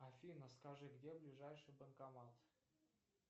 афина скажи где ближайший банкомат